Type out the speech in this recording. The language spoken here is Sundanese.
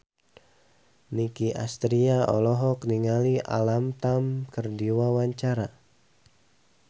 Nicky Astria olohok ningali Alam Tam keur diwawancara